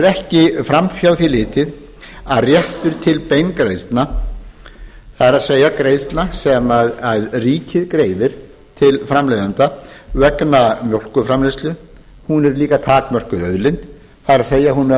ekki fram hjá því litið að réttur til beingreiðslna það er greiðslna sem ríkið greiðir til framleiðenda vegna mjólkurframleiðslu er takmörkuð auðlind það er hún er